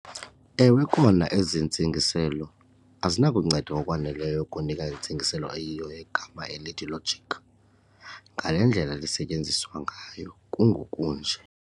Ewe kona ezi ntsingiselo azinakunceda ngokwaneleyo ukunika intsingiselo eyiyo yegama elithi 'logic' ngale ndlela lisetyenziswa ngayo kungoku nje.